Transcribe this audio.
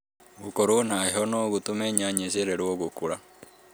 Gũkorũo na heho no gũtũme nyanya icererũo gũkũra